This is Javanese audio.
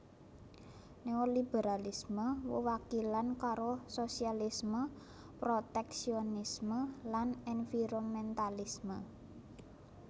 Néoliberalisme wewalikan karo sosialisme proteksionisme lan environmentalisme